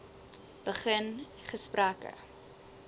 begin gesprekke